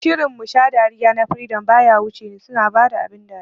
Shirin "Musha dariya" na freedom baya wuce ni, suna bada abin dariya